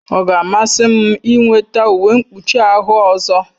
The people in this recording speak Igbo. Ọ ga-amasị m ịnweta uwe mkpuchi ahụ ọzọ